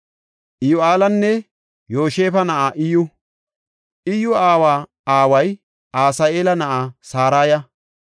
Iyyu7eelanne Yoshiba na7aa Iyyu. Iyyu aawa aaway Asa7eela na7a Saraya.